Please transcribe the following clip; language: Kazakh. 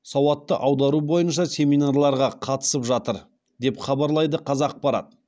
сауатты аудару бойынша семинарларға қатысып жатыр деп хабарайды қазақпарат